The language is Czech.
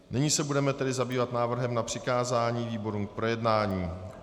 Nyní se tedy budeme zabývat návrhem na přikázání výborům k projednání.